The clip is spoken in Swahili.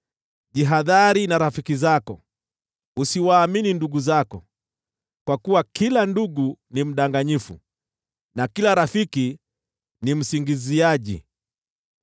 “Jihadhari na rafiki zako; usiwaamini ndugu zako. Kwa kuwa kila ndugu ni mdanganyifu, na kila rafiki ni msingiziaji.